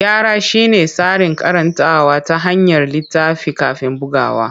Gyara shine tsarin karantawa ta hanyar littafi kafin bugawa.